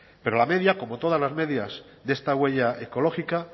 pero la media como todas las medias de esta huella ecológica